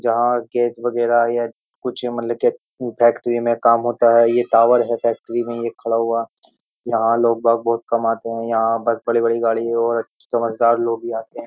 जहाँ गैस वगैरह या कुछ मतलब क्या फैक्ट्री में काम होता है ये टावर है फैक्ट्री में ये खड़ा हुआ यहाँ लोग बाग बहुत कम आते हैं यहां बस बड़ी-बड़ी गाड़ी और समझदार लोग भी आते हैं।